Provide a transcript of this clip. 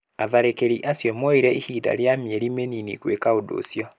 Atharĩkĩri acio moire ihinda rĩa mĩeri mĩnini gwĩka ũndũ ũcio